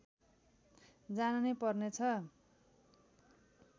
जान नै पर्नेछ